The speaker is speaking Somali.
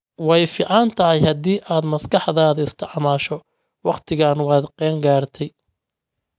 Way fiican tahay haddii aad maskaxdaada isticmaasho wakhtigan waad qeeyn gartaay